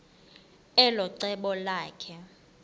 elo cebo lakhe